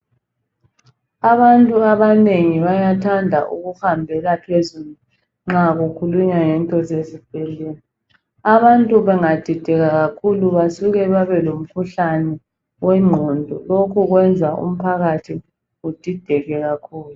Abantu abanengi bayathanda ukuhambela phezulu nxa kukhulunywa ngento zezibhedlela. Abantu bengadideka kakhulu basuke babelomkhuhlane owengqondo. Lokhu kwenza umphakathi udideke kakhulu.